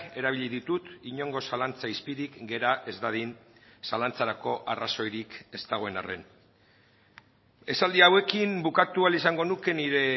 erabili ditut inongo zalantza izpirik gera ez dadin zalantzarako arrazoirik ez dagoen harren esaldi hauekin bukatu ahal izango nuke nire